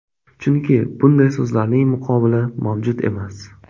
Chunki bunday so‘zlarning muqobili mavjud emas.